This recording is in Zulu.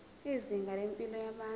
izinga lempilo yabantu